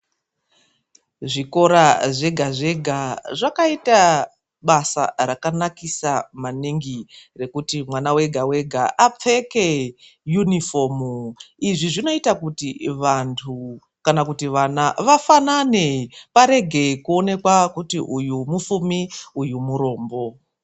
Zvikora zvega zvega zvakaita basa rakanakisa maningi rekuti mwana wega wega apfeke yunifomu. Izvi zvinoita kuti vandu kana kuti vana vafanane, varege kuonekwa kuti uyu mufumi uyu murombo.